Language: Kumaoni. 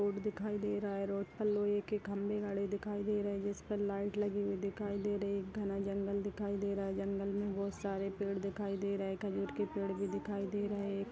एक रोड दिखाई दे रहा है रोड पर लोहे के खंभे गड़े दिखाई दे रहें हैं जिस पर लाइट लगी हुई दिखाई दे रही है एक घना जंगल दिखाई दे रहा है जंगल में बहोत सारे पेड़ दिखाई दे रहें हैं खजूर के पेड़ भी दिखाई दे रहें हैं।